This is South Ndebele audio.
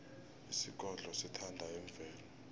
isigodlo sithanda imvelo